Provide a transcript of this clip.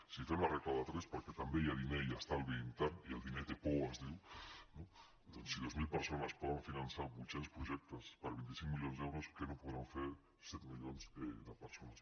si fem la regla de tres perquè també hi ha diner i estalvi intern i el diner té por es diu doncs si dues mil persones poden finançar vuit cents projectes per vint cinc milions d’euros què no podran fer set milions de persones